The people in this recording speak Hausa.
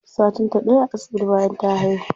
Satin ta ɗaya a asibitin bayan ta haihu.